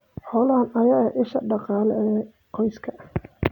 Xoolahan ayaa ah isha dhaqaale ee qoyska.